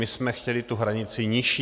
My jsme chtěli tu hranici nižší.